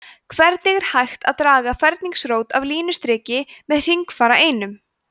hvernig er hægt að draga ferningsrót af línustriki með hringfara einum